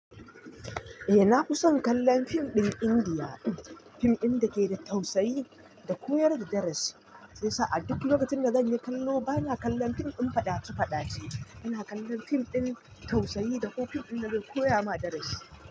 Eh, na fi son kallon fim ɗin Indiya. Fim ɗin da ke da tausayi da koyar da darasi. Shi yasa a duk lokacin da zan yi kallo bana kallon fim ɗin faɗa ce faɗa ce. Ina kallon fim ɗin tausayi da ko fim ɗin da zai koya ma darasi.